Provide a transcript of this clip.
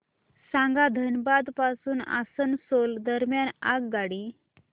सांगा धनबाद पासून आसनसोल दरम्यान आगगाडी